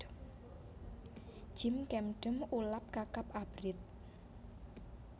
Jjim chamdeom ulam kakap abrit